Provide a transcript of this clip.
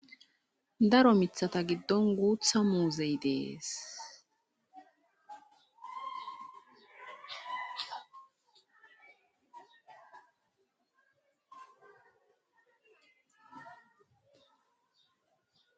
Daro mithata giddon guutha muuzey dees